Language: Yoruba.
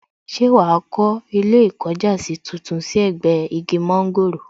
Ṣé wàá kó ilé ìkọjásí tuntun sí ẹ̀gbẹ́ igi mọ́ńgòrò